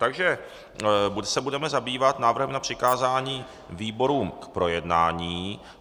Takže se budeme zabývat návrhem na přikázání výborům k projednání.